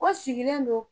Ko sigilen don